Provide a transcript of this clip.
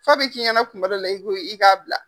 Fa bɛ k'i ɲɛna kuma dɔw la ko i k'a bila.